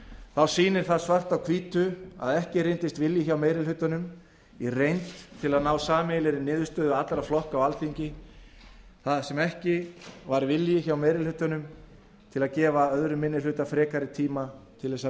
þá sýnir það svart á hvítu að ekki reyndist vilji hjá meiri hlutanum í reynd til að ná sameiginlegri niðurstöðu allra flokka á alþingi þar sem ekki var vilji hjá meiri hlutanum til að gefa öðrum minni hluta frekari tíma til að